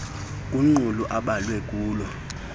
kumqulu abhalwe kulo